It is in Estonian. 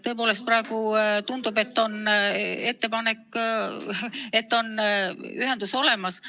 Tõepoolest, praegu tundub, et on ühendus olemas.